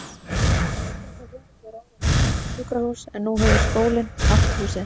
Þetta hús var áður jafnframt sjúkrahús, en nú hefur skólinn allt húsið.